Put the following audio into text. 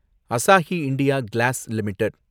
Asahi India glass limited